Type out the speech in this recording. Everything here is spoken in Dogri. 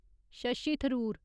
शशी थरूर